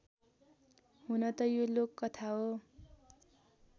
हुनत यो लोककथा हो